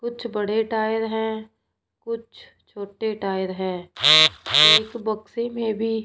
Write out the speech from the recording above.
कुछ बड़े टायर हैं कुछ छोटे टायर है एक बक्से में भी--